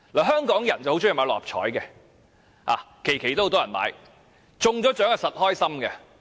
香港人很喜歡投注六合彩，每期都有很多人投注，中獎當然開心。